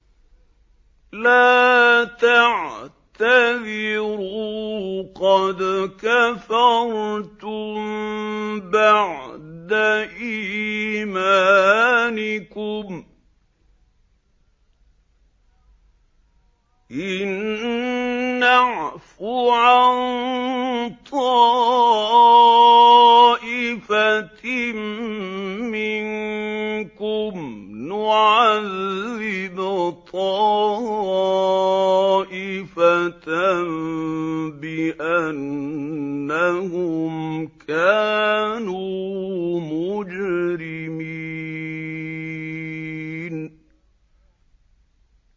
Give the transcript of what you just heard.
لَا تَعْتَذِرُوا قَدْ كَفَرْتُم بَعْدَ إِيمَانِكُمْ ۚ إِن نَّعْفُ عَن طَائِفَةٍ مِّنكُمْ نُعَذِّبْ طَائِفَةً بِأَنَّهُمْ كَانُوا مُجْرِمِينَ